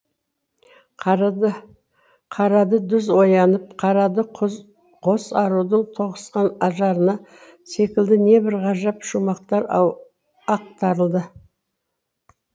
қарады қарады дүз оянып қарады құз қос арудың тоғысқан ажарына секілді небір ғажап шумақтар ақтарылды